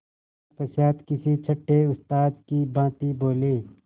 तत्पश्चात किसी छंटे उस्ताद की भांति बोले